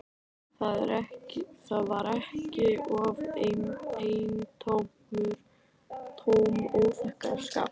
Það var ekki af eintómum óþokkaskap.